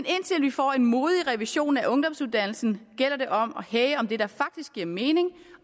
får en modig revision af ungdomsuddannelsen gælder det om at hæge om det der faktisk giver mening